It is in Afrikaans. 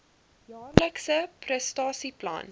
jaarlikse prestasie plan